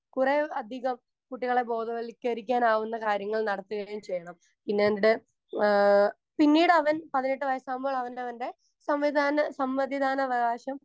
Speaker 1 കുറേ അധികം കുട്ടികളെ ബോധവൽക്കരിക്കാനാവുന്ന കാര്യങ്ങൾ നടത്തുകയും ചെയ്യണം. പിന്നെയവൻ്റെ ആഹ് പിന്നീട് അവൻ പതിനെട്ട് വയസ്സാകുമ്പോൾ അവനവൻ്റെ സംവിധാന സമ്മതിദാനാവകാശം